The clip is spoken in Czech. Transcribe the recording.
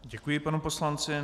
Děkuji panu poslanci.